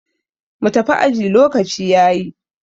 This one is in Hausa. mu tafi aji lokaci ya yi!